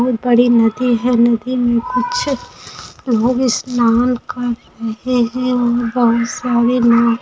बहुत बड़ी नदी है नदी में कुछ बहुत सारे लोग--